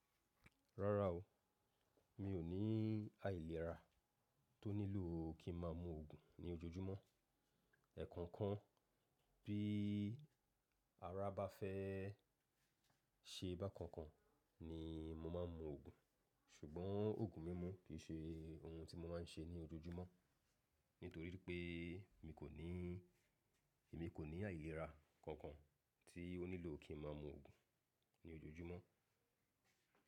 Rárá o, mi ò ní àìlera tó nílò kí n ma mu oògùn ní ojoojúmọ́. Ẹ̀ẹ̀kookan bí ara bá fẹ́ ṣe bá kan kan ni mo máa ń mu oògùn. Ṣùgbọ́n oògùn mímu kì í ṣe ohun tí mo máa ń ṣe ní ojoojúmọ́, nítorí pé mi kò ní, èmi kò ní àìlera kankan tí ó nílò kí n ma mu oògùn ní ojoojúmọ́.